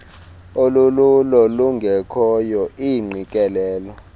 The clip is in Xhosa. olululo lungekhoyo iingqikelelo